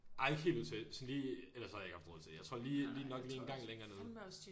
Ej ikke helt ud til sådan lige ellers så havde jeg ikke haft råd til det jeg tror lige lige nok lige en gang længere nede